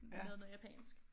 Med noget japansk